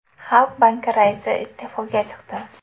Xalq banki raisi iste’foga chiqdi.